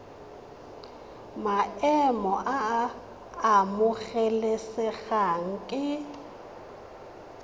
maemo a a amogelesegang ke